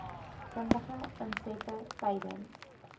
kundige insette tydens